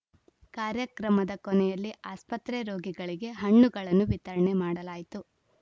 ಕಾರ್ಯಕ್ರಮದ ಕೊನೆಯಲ್ಲಿ ಆಸ್ಪತ್ರೆ ರೋಗಿಗಳಿಗೆ ಹಣ್ಣುಗಳನ್ನು ವಿತರಣೆ ಮಾಡಲಾಯಿತು